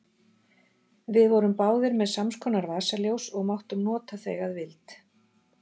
Við vorum báðir með samskonar vasaljós og máttum nota þau að vild.